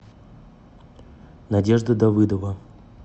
надежда давыдова